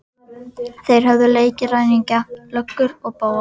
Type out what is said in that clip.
Þeir höfðu leikið ræningja, löggur og bófa.